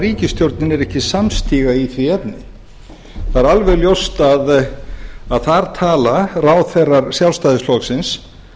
ríkisstjórnin er ekki samstiga í því efni það er alveg ljóst að þar tala ráðherrar sjálfstæðisflokksins